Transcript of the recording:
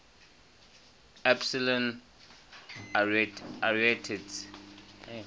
epsilon arietids